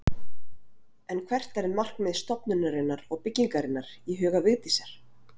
En hvert er markmið stofnunarinnar og byggingarinnar í huga Vigdísar?